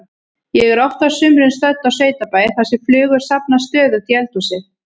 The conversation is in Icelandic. Ég er oft á sumrin stödd á sveitabæ þar sem flugur safnast stöðugt í eldhúsið.